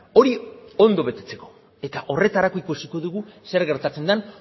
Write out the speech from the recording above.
hori ondo betetzeko eta horretarako ikusiko dugu zer gertatzen den